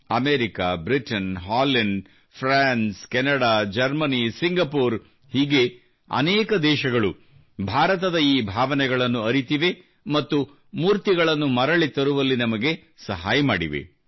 America Britain Holland France Canada Germany Singapore ಹೀಗೆ ಅನೇಕ ದೇಶಗಳು ಭಾರತದ ಈ ಭಾವನೆಗಳನ್ನು ಅರಿತಿವೆ ಮತ್ತು ಮೂರ್ತಿಗಳನ್ನು ಮರಳಿ ತರುವಲ್ಲಿ ನಮಗೆ ಸಹಾಯ ಮಾಡಿವೆ